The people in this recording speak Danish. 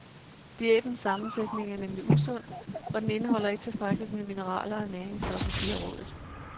Diætens sammensætning er nemlig usund, og den indeholder ikke tilstrækkeligt med mineraler og næringsstoffer, siger rådet.